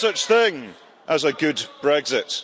is no such thing as a good Brexit.